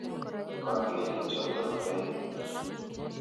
Kanetik chotok aeng'.